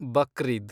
Bakrid